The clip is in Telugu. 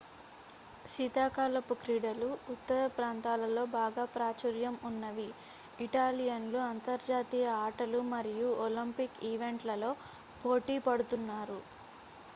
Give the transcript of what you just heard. శీతాకాలపు క్రీడలు ఉత్తర ప్రాంతాలలో బాగా ప్రాచుర్యం ఉన్నవి ఇటాలియన్లు అంతర్జాతీయ ఆటలు మరియు ఒలింపిక్ ఈవెంట్లలో పోటీ పడుతున్నారు